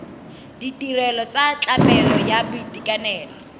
ditirelo tsa tlamelo ya boitekanelo